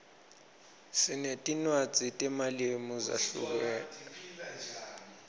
sinetinwadzi temalimu zahlukeme